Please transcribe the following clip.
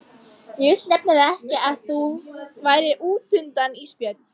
Ég vissi nefnilega ekki að þú værir útundan Ísbjörg.